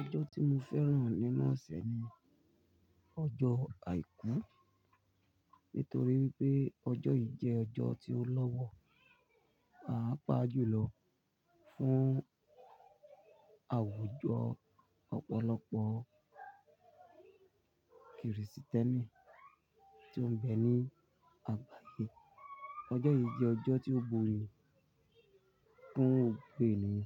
Ọjọ́ tí mo fẹ́ràn nínú ọ̀sẹ̀ ni ọjọ́ àìkú, nítorí pé ọjọ́ yìí jẹ́ ọjọ́ tí ó lọ́wọ́ á pàápaa jùlọ fún àwùjọ ọ̀pọ̀lọpọ̀ Krìsìtẹ́nì tó ń bẹ ní àgbáyé. Ọjọ́ yìí jẹ́ ọjọ́ tí ó gboyè fún gbogbo ènìyàn